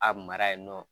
A mara yen nɔ